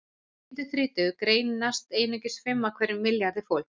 Hjá fólki undir þrítugu greinast einungis fimm af hverjum milljarði fólks.